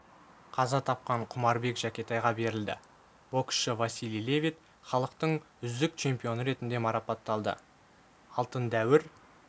қаза тапқан құмарбек жәкетайға берілді боксшы василий левит халықтың үздік чемпионы ретінде марапатталды алтын дәуір